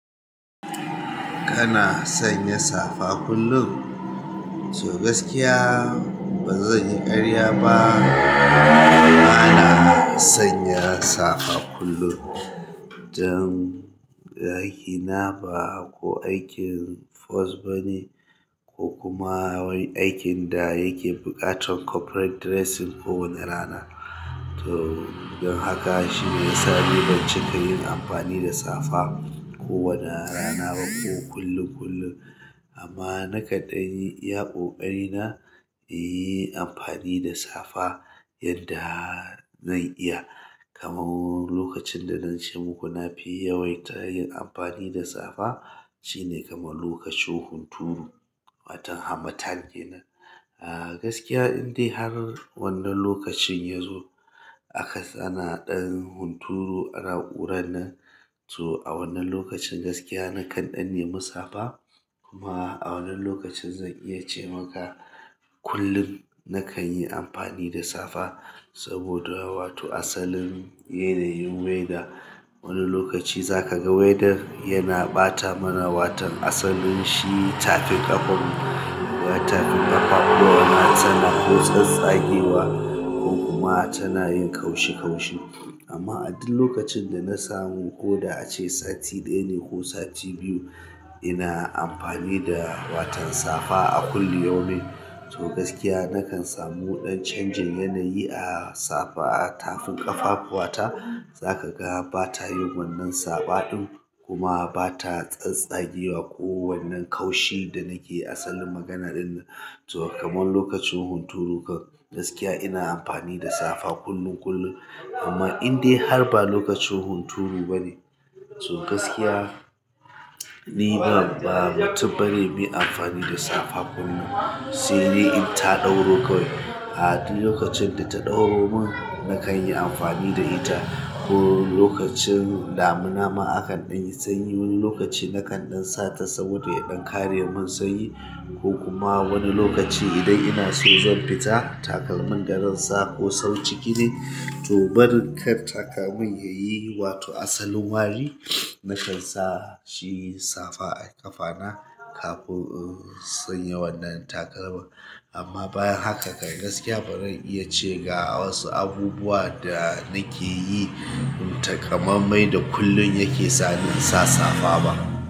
Kana sanya safa kullum? To gaskiya ba zan yi karya ba bana sanya safa kullum. Dan aiki na ba ko aikin force bane ko kuma wani aikin da yake buƙatar corporate dressing kowane rana. To don haka shi ne yasa ban cika yin amfani da safa kowane rana ba ko kullum kullum. Amma na kan dan yi iya ƙoƙari na in yi amfani da safa yanda zan iya kamar lokacin da zan ce muku na fi yawaita yin amfani da safa shine kamar lokacin hunturu, watan harmattan kenan. Ah gaskiya indai har wannan lokacin ya zo aka tsana ɗan hunturu, ana kurar nan to a wannan lokacin gaskiya na kan ɗan nemi safa. Kuma a wannan lokacin zan iya ce maka kullum nakan yi amfani da safa saboda wato asalin yanayin weather. Wani lokaci za ka ga weather yana ɓata mana waton, asalin shi tafin ƙafan mu mu, tafi ƙafafuwa na tsana ko tsatsage wa ko kuma tana yin ƙaushi ƙaushi. Amma a duk lokacin da na samu ko da ace sati ɗaya ne ko sati biyu ina amfani da waton safa a kullum yome. To gaskiya na kan samu ɗan change a yanayi a safa a tafin ƙafafuwa ta. Za ka ga ba ta yin wannan saɓa ɗin kuma ba ta tsatsage wa ko wannan ƙaushi da nake asalin magana din nan. To kamar lokacin hunturu gaskiya ina amfani da safa kullum kullum. Amma indai har ba lokacin hunturu bane, to gaskiya ni ba, ba mutum bane mai amfani da safa kullum. Se ni in ta ɗauro kawai. A duk lokacin da ta dauro min na kan yi amfani da ita ko lokacin damina ma aka ɗan sanyi, wani lokaci nakan ɗan sata saboda ya ɗan kare mun sanyi ko kuma wani lokaci idan ina so zan fita takalman garan sa ko sau ciki ne to ban kan takalman yayi wato asalin wari na kan sa shi safa a ƙafa na kafin in sanya wannan takalma. Amma bayan haka gaskiya ba zan iya ce ga wasu abubuwa da nake yi takamaimai da kullum yake sa ni in sa safa ba.